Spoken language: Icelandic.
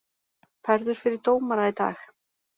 Færður fyrir dómara í dag